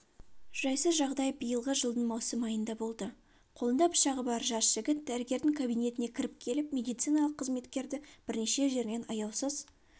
жайсыз жағдай биылғы жылдың маусым айында болды қолында пышағы бар жас жігіт дәрігердің кабинетіне кіріп келіп медициналық қызметкерді бірнеше жерінен аяусыз